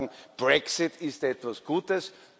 Die einen sagen Brexit ist etwas Gutes